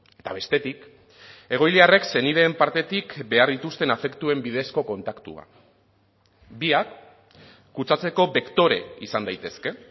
eta bestetik egoiliarrek senideen partetik behar dituzten afektuen bidezko kontaktua biak kutsatzeko bektore izan daitezke